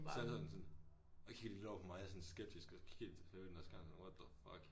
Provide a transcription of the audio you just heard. Så sidder de sådan og kigger de lidt over på mig sådan skeptisk og kigger de så på den der skærm sådan what the fuck